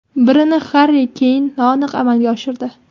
Birini Harri Keyn noaniq amalga oshirdi.